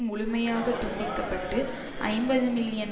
முழுமையாக துண்டிக்க பட்டு ஐம்பது மில்லியன்